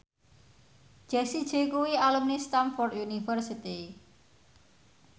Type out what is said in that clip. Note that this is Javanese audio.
Jessie J kuwi alumni Stamford University